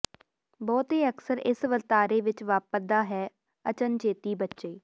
ਬਹੁਤੇ ਅਕਸਰ ਇਸ ਵਰਤਾਰੇ ਵਿੱਚ ਵਾਪਰਦਾ ਹੈ ਅਚਨਚੇਤੀ ਬੱਚੇ